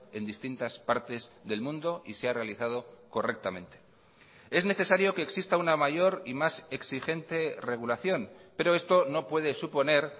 en distintas partes del mundo y se ha realizado correctamente es necesario que exista una mayor y más exigente regulación pero esto no puede suponer